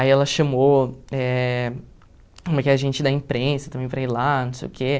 Aí ela chamou eh uma que é gente da imprensa também para ir lá, não sei o quê.